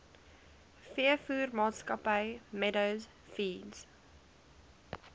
veevoermaatskappy meadow feeds